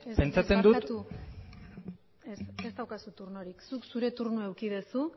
pentsatzen dut barkatu ez ez daukazu turnorik zuk zure turnoa eduki duzu